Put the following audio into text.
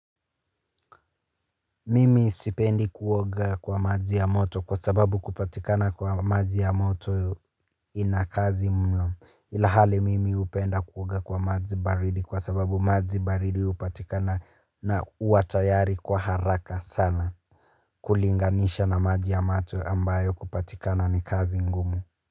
Mimi sipendi kuoga kwa maji ya moto kwa sababu kupatikana kwa maji ya moto ina kazi mno ila hali mimi hupenda kuoga kwa maji baridi kwa sababu maji baridi hupatikana na huwa tayari kwa haraka sana kulinganisha na maji ya moto ambayo kupatikana ni kazi ngumu.